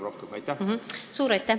Suur aitäh!